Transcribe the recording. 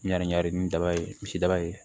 Ɲaani ɲagami daba ye misi daba ye